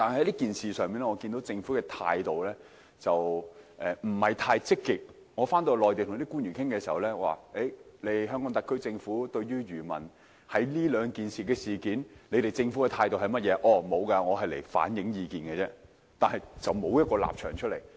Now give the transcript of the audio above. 因此，在與內地與官員討論期間，當他們問及香港特區政府就上述兩項政策對漁民的影響持有甚麼態度時，我只能表示我是來反映意見的，並無任何立場可言。